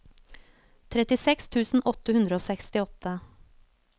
trettiseks tusen åtte hundre og sekstiåtte